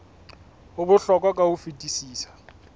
ho bohlokwa ka ho fetisisa